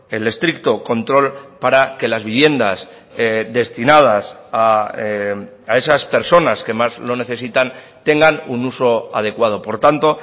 el estricto control para que las viviendas destinadas a esas personas que más lo necesitan tengan un uso adecuado por tanto